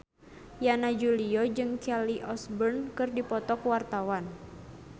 Yana Julio jeung Kelly Osbourne keur dipoto ku wartawan